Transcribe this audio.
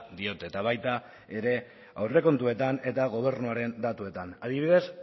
diote eta baita ere aurrekontuetan eta gobernuaren datuetan adibidez